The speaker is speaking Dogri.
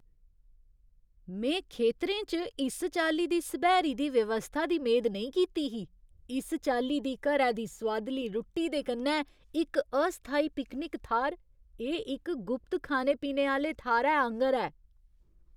में खेतरें च इस चाल्ली दी सब्हैरी दी व्यवस्था दी मेद नेईं कीती ही, इस चाल्ली दी घरै दी सोआदली रुट्टी दे कन्नै इक अस्थाई पिकनिक थाह्‌र! एह् इक गुप्त खाने पीने आह्‌ले थाह्‌रै आंह्‌गर ऐ!